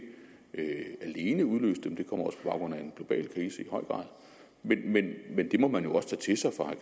alene udløst dem de kommer også baggrund af en global krise men det må man jo også tage til sig fra